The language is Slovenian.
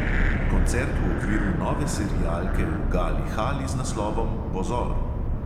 Koncert v okviru nove serialke v gali hali z naslovom pozor!